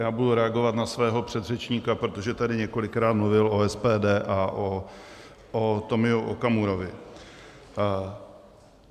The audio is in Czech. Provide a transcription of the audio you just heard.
Já budu reagovat na svého předřečníka, protože tady několikrát mluvil o SPD a o Tomio Okamurovi.